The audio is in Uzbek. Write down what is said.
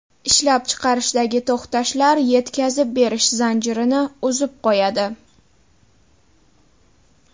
Ishlab chiqarishdagi to‘xtashlar yetkazib berish zanjirini uzib qo‘yadi.